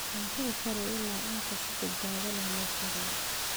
Cuntada kari ilaa inta si badbaado leh loo kariyo.